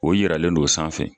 O yiralen no sanfɛ.